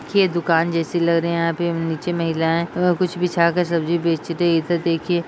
ये दुकान जैसी लग रही है यहाँ पे उम्म नीचे महिलाएं ए कुछ बिछा के सब्जी बेच रही है इधर देखिए।